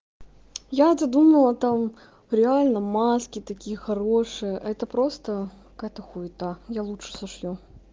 я-то думала там реально маски такие хорошие а это просто какая-то хуета я лучше сошью